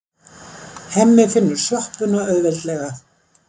Hemmi finnur sjoppuna auðveldlega.